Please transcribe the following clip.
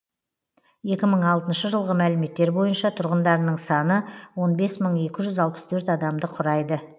екі мың алтыншы жылғы мәліметтер бойынша тұрғындарының саны он бес мың екі жүз алпыс төрт адамды құрайды